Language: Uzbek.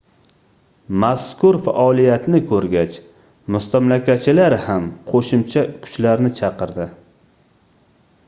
mazkur faoliyatni koʻrgach mustamlakachilar ham qoʻshimcha kuchlarni chaqirdi